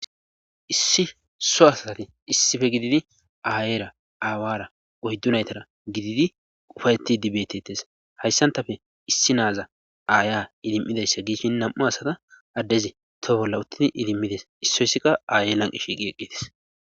Issi so asati issife gididi aayeera aawara oyddu naytara gididi ufayeti dibetetes hayssantafe issi naaza aaya idimmidayssa giishin nam7u asata addezi to bolla uttini idimmides issoysikka aaye lanqi shiiqi eqqites